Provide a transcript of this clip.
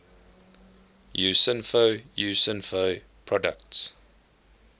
usinfo usinfo products